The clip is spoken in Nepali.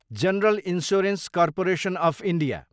general insurance corporation of India